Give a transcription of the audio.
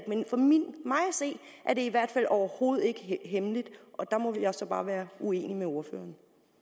se er det i hvert fald overhovedet ikke hemmeligt og der må jeg så bare være uenig med ordføreren